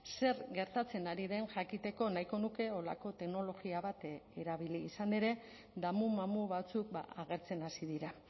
zer gertatzen ari den jakiteko nahiko nuke horrelako teknologia bat erabili izan ere damu mamu batzuk agertzen hasi dira